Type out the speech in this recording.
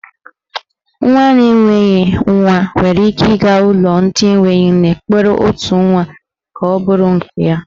Nwaanyị na enweghị nwa nwere ike ịga n'ụlọ ndị enwe nne kpọrọ otu nwa ka ọ bụrụ nke ya.